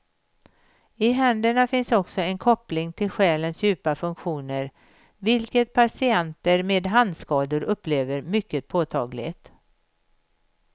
I händerna finns också en koppling till själens djupa funktioner, vilket patienter med handskador upplever mycket påtagligt.